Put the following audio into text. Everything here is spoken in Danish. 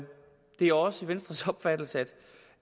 det er også venstres opfattelse